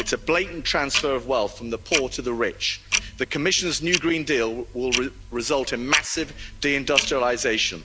It's a blatant transfer of wealth from the poor to the rich. The Commission's new green deal will result in massive de industrialisation.